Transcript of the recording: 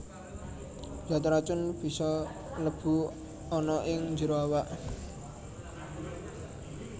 Zat racun bisa mlebu ana ing njero awak